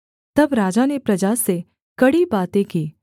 तब राजा ने प्रजा से कड़ी बातें की